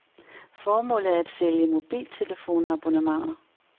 Formålet er at sælge mobiltelefonabonnementer.